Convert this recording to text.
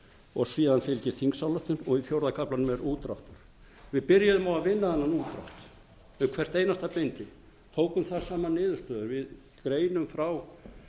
og síðan fylgir þingsályktun og í fjórða kaflanum er útdráttur við byrjuðum á að vinna þennan útdrátt við hvert einasta bindi tókum þar saman niðurstöður við greinum frá